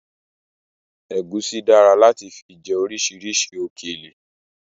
Ẹ̀gúsí dára láti fi jẹ orisirisi òkèlè